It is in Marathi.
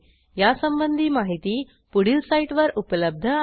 यासंबंधी माहिती पुढील साईटवर उपलब्ध आहे